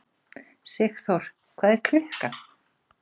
Sigþór, hvað er klukkan?